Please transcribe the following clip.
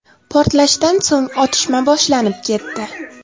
Portlashdan so‘ng otishma boshlanib ketdi.